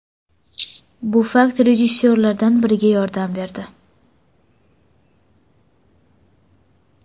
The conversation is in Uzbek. Bu fakt rejissyorlardan biriga yordam berdi.